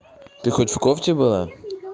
ты хоть в кофте было